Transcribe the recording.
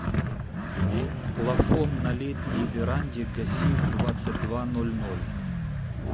плафон на летней веранде гаси в двадцать два ноль ноль